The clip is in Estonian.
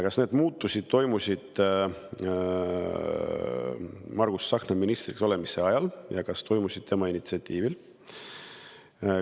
Kas need muutused toimusid Margus Tsahkna ministriks olemise ajal ja tema initsiatiivil?